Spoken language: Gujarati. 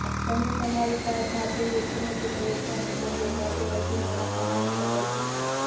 તમે તમારી કાર જાતે વેચીને તેને વેચવાને બદલે જાતે વધુ નાણાં કમાવી શકો છો